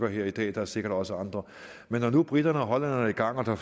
her i dag der er sikkert også andre men når nu briterne og hollænderne er i gang og der